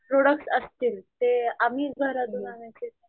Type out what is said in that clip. Products असतील ते आम्हीच घरातुन आणायचे का.